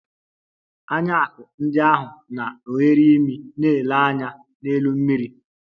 Anya akum ndị ahụ na oghere imi na - ele anya n'elu mmiri.